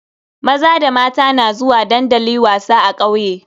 Maza da mata na zuwa dandali wasa a kauye.